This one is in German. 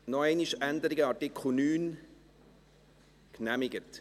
Noch einmal Änderungen Artikel 9. – Genehmigt.